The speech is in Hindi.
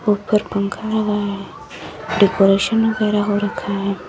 ऊपर पंखा लगा है। डेकोरेशन वगैरा हो रखा है।